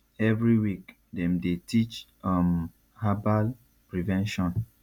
every week dem dey teach um herbal prevention